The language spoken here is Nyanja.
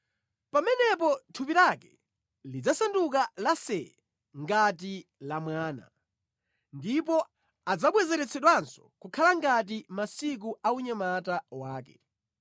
pamenepo thupi lake lidzasanduka lasee ngati la mwana; ndipo adzabwezeretsedwanso kukhala ngati mʼmasiku a unyamata wake.